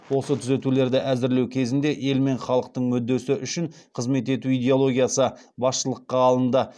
осы түзетулерді әзірлеу кезінде ел мен халықтың мүддесі үшін қызмет ету идеологиясы басшылыққа алынды